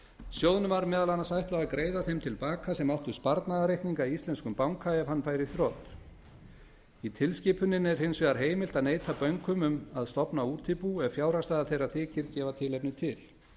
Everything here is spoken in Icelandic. sjóðnum var meðal annars ætlað að greiða þeim til baka sem áttu sparnaðarreikninga í íslenskum banka ef hann færi í þrot í tilskipuninni er hins vegar heimilt að neita bönkum um að stofna útibú ef fjárhagsstaða þeirra þykir gefa tilefni til